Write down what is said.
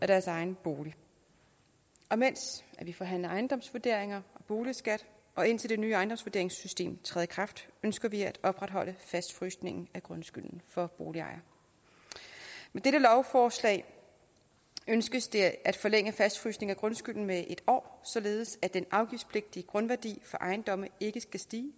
deres egen bolig og mens vi forhandler ejendomsvurderinger og boligskat og indtil det nye ejendomsvurderingssystem træder i kraft ønsker vi at opretholde fastfrysningen af grundskylden for boligejere med dette lovforslag ønskes det at forlænge fastfrysningen af grundskylden med en år således at den afgiftspligtige grundværdi for ejendomme ikke skal stige